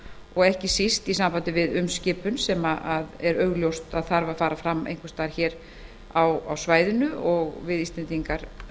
og ekki síst í sambandi við umskipun sem er augljóst að fara þarf fram einhvers staðar á þessu svæði við íslendingar